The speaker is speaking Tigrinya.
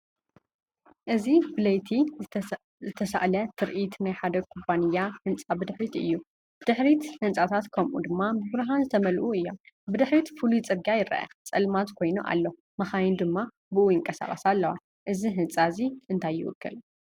እዚ ብለይቲ ዝተሳእለ ትርኢት ናይ ሓደ ኩባንያ ህንጻ ብድሕሪት እዩ። ብድሕሪት ህንጻታት ፣ከምኡ ድማ ብብርሃን ዝተመልኡ እዮም። ብድሕሪት ፍሉይ ጽርግያ ይረአ ፡ ጸልማት ኮይኑ ኣሎ መኻይን ድማ ብእኡ ይንቀሳቐሳ ኣለዋ። እዚ ህንጻ እዚ እንታይ ይውክል?